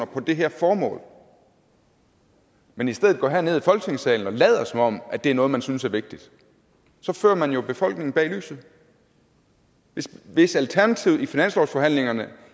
på det her formål men i stedet for går herned i folketingssalen og lader som om det er noget man synes er vigtigt fører man jo befolkningen bag lyset hvis alternativet i finanslovsforhandlingerne